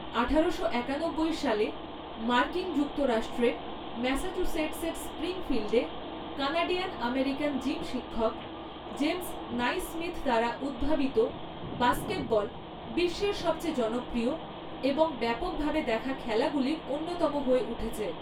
আঠারোশো একানব্বই সালে মার্কিন যুক্তরাষ্ট্রের ম্যাসাচুসেটসের স্প্রিংফিল্ডে, কানাডিয়ান আমেরিকান জিম শিক্ষক জেমস নাইসমিথ দ্বারা উদ্ভাবিত বাস্কেটবল বিশ্বের সবচেয়ে জনপ্রিয় এবং ব্যাপকভাবে দেখা খেলাগুলির অন্যতম হয়ে উঠেছে।